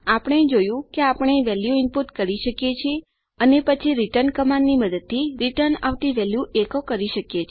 આપણે જોયું કે આપણે વેલ્યુ ઇનપુટ કરી શકીએ છીએ અને પછી રિટર્ન આદેશ ની મદદ થી રીટર્ન આવતી વેલ્યુ ઇકો કરી શકીએ